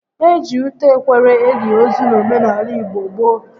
E ji ute ekwere eli ozu n'omenaala igbo gboo